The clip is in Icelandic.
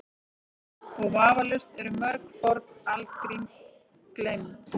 Og vafalaust eru mörg forn algrím gleymd.